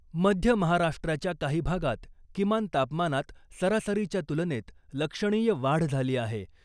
मध्य महाराष्ट्राच्या काही भागात किमान तापमानात सरासरीच्या तुलनेत लक्षणीय वाढ झाली आहे .